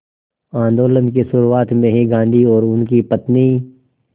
आंदोलन की शुरुआत में ही गांधी और उनकी पत्नी